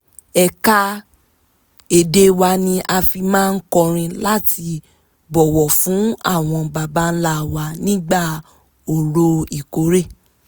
ẹ̀ka èdè wa ni a fi máa ń kọrin láti bọ̀wọ̀ fún àwọn baba ǹlà wa nígbà orò ìkórè